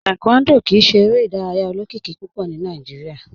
Taekwondo kìí ṣè èrè idàrayà olókìkí púpọ̀ ní Nàìjíríà.